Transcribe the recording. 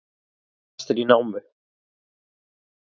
Verkamenn fastir í námu